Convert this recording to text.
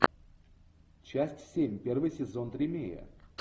часть семь первый сезон тримея